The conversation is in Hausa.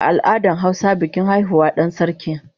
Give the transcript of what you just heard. A al'adar hausa bikin haihuwar dan sarki